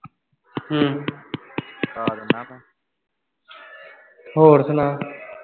ਹੋਰ ਸੁਣਾ